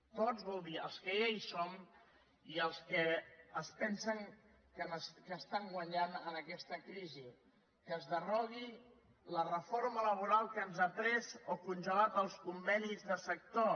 tots vol dir els que ja hi som i els que es pensen que hi guanyen amb aquesta crisi que es derogui la reforma laboral que ens ha pres o congelat els convenis de sector